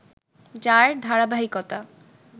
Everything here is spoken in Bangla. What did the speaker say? যার ধারাবাহিকতা